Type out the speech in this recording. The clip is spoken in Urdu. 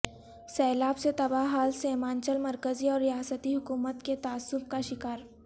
سیلاب سے تباہ حال سیمانچل مرکزی اور ریاستی حکومت کے تعصب کا شکار